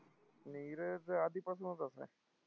नीरज आधीपासनंच असा आहे.